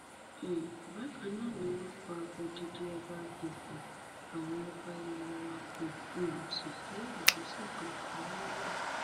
um bákan náà ni wọn pa odidi ọba ìfọn àwọn ọba ilé wa kó um sì gbé ìgbésẹ kankan lórí rẹ